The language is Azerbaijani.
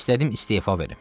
İstədim istefa verim.